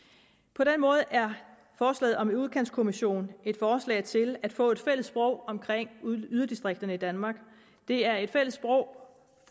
på den måde er forslaget om en udkantskommission et forslag til at få et fælles sprog omkring yderdistrikterne i danmark det er et fælles sprog